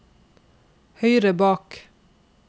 høyre bak